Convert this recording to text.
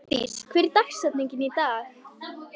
Aðlis, hver er dagsetningin í dag?